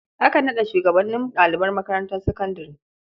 Akan naɗa shugabanin ɗalibai makarantar sakandare.